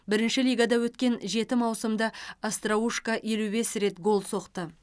бірінші лигада өткен жеті маусымда остроушко елу бес рет гол соқты